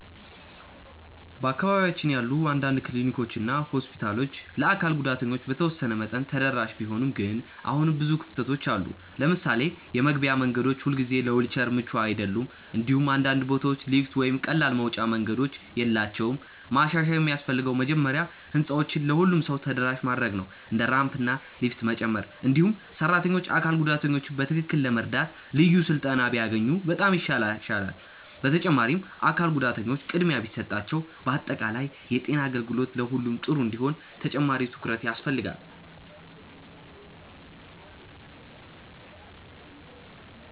በአካባቢያችን ያሉ አንዳንድ ክሊኒኮች እና ሆስፒታሎች ለአካል ጉዳተኞች በተወሰነ መጠን ተደራሽ ቢሆኑም ግን አሁንም ብዙ ክፍተቶች አሉ። ለምሳሌ የመግቢያ መንገዶች ሁልጊዜ ለዊልቸር ምቹ አይደሉም፣ እንዲሁም አንዳንድ ቦታዎች ሊፍት ወይም ቀላል መውጫ መንገዶች የላቸውም። ማሻሻያ የሚያስፈልገው መጀመሪያ ህንፃዎችን ለሁሉም ሰው ተደራሽ ማድረግ ነው፣ እንደ ራምፕ እና ሊፍት መጨመር። እንዲሁም ሰራተኞች አካል ጉዳተኞችን በትክክል ለመርዳት ልዩ ስልጠና ቢያገኙ በጣም ይሻላል። በተጨማሪም አካል ጉዳተኞች ቅድሚያ ቢሰጣቸው በአጠቃላይ የጤና አገልግሎት ለሁሉም ጥሩ እንዲሆን ተጨማሪ ትኩረት ያስፈልጋል።